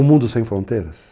Um mundo sem fronteiras.